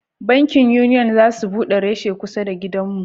Bankin Union za su bude reshe kusa da gidan mu